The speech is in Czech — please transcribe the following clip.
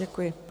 Děkuji.